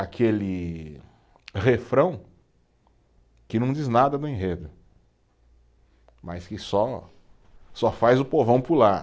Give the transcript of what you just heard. Aquele refrão que não diz nada do enredo, mas que só, só faz o povão pular.